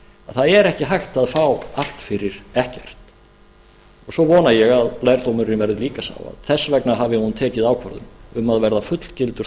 það er ekki hægt að fá allt fyrir ekkert svo vona ég að lærdómurinn verði líka sá að þess vegna hafi hún tekið ákvörðun um að verða fullgildur